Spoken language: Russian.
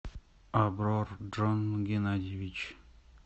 аврор джон геннадьевич